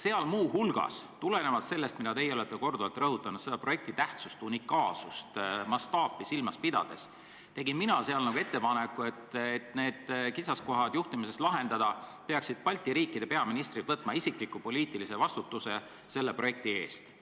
Seal tegin ma muu hulgas ettepaneku – tulenevalt sellest, mida teiegi olete korduvalt rõhutanud, projekti tähtsust, unikaalsust ja mastaapi silmas pidades –, et selleks, et juhtimises esinevad kitsaskohad ületada, peaksid Balti riikide peaministrid võtma selle projekti eest isikliku poliitilise vastutuse.